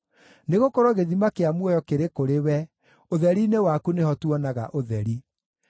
Nĩgũkorwo gĩthima kĩa muoyo kĩrĩ kũrĩ we; ũtheri-inĩ waku nĩho tuonaga ũtheri.